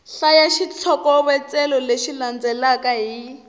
hlaya xitlhokovetselo lexi landzelaka hi